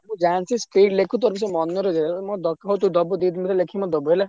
ଯାହା ସେ street ଲେଖୁଛନ୍ତି ।